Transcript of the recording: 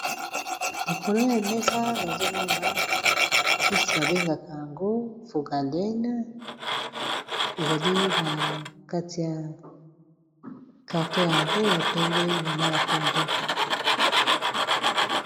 likolo ya mesa nazomona kisi babengaka yango foungalene ezali na kati ya karto yango ya pembe na ma ya pondo